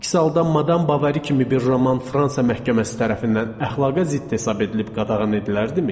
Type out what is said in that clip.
Əks halda Madam Bovari kimi bir roman Fransa məhkəməsi tərəfindən əxlaqa zidd hesab edilib qadağan edilərdimi?